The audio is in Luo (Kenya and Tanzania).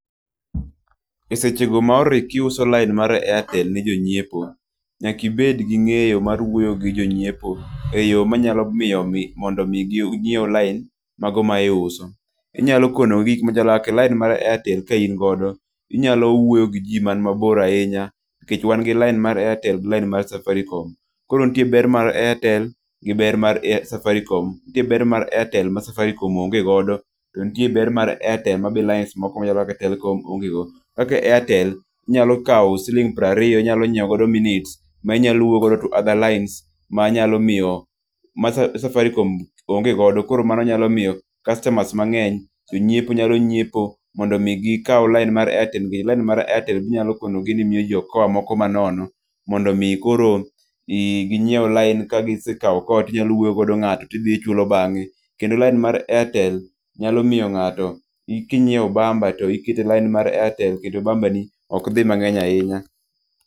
E sechego ma orikiuso lain mar Airtel ne jonyiepo, nyakibed gi ng'eyo mar wuoyo gi jonyiepo e yo manyalo miyo mi mondo mi ginyiew lain mago ma iuso. Inyalo konogi gik machalo kaka lain mar Airtel kain go, inyalow wuoyo gi ji man mabor ahinya. Nikech wan gi lain mar Airtel gi lain mar Safaricom. Koro nitie ber mar Airtel gi ber mar Safaricom, nitie ber mar Airtel ma Safaricom onge godo. To nitie ber mar Airtel mabe lines moko machalo kaka Telkom onge go. Kaka Airtel, inyalo kawo siling' prariyo inyalo nyiewo godo minutes ma inyalo wuoyo godo to other lines, ma nyalo miyo, ma Safaricom onge godo. Koro mano nyalo miyo kastamas mang'eny, jonyiepo nyalo nyiepo mondo mi gikaw lain mar Airtel, nikeche lain mar Airtel ginyalokonogi ni miyoji okoa moko ma nono. Mondo mi koro i ginyiew lain, kagisekao okoa tinyalo wuoyogodo ng'ato tidhi ichulo bang'e. Kendo lain mar Airtel nyalo miyo ng'ato kinyiewo bamba to iketo e lain mar Airtel kendo bambani ok dhi mang'eny ahinya.